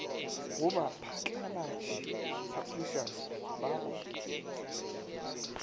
go baphatlalatši publishers ba go